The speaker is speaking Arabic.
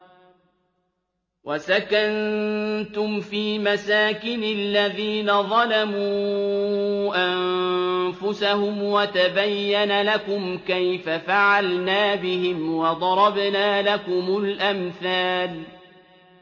وَسَكَنتُمْ فِي مَسَاكِنِ الَّذِينَ ظَلَمُوا أَنفُسَهُمْ وَتَبَيَّنَ لَكُمْ كَيْفَ فَعَلْنَا بِهِمْ وَضَرَبْنَا لَكُمُ الْأَمْثَالَ